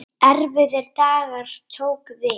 Erfiðir dagar tóku við.